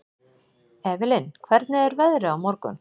Evelyn, hvernig er veðrið á morgun?